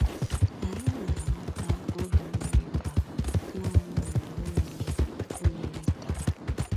“Anyị na-amata uru mmiri bara nanị mgbe olulu mmiri tara.